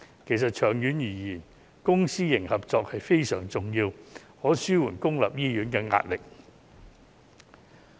其實，長遠而言，公私營合作是非常重要的，可以紓緩公立醫院的壓力。